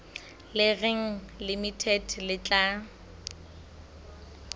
le reng limited le tla